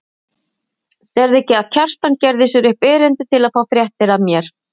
Sérðu ekki að Kjartan gerði sér upp erindi til að fá fréttir af mér.